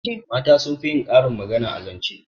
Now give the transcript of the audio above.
Mata sun fi yin karin magana a zance